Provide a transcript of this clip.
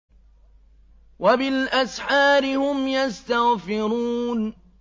وَبِالْأَسْحَارِ هُمْ يَسْتَغْفِرُونَ